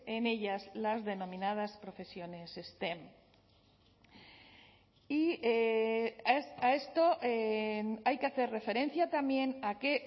en ellas las denominadas profesiones stem y a esto hay que hacer referencia también a que